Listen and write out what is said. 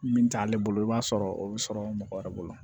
Min t'ale bolo i b'a sɔrɔ o bɛ sɔrɔ mɔgɔ wɛrɛ bolo